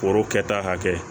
Foro kɛta hakɛ